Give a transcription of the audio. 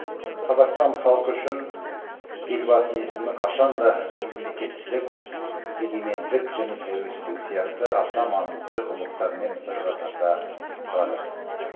қазақстан халқы үшін елбасының есімі қашанда мемлекеттілік егемендік және тәуелсіздік сияқты аса маңызды ұғымдармен бір қатарда тұрады